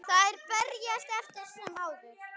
Þær berjast eftir sem áður.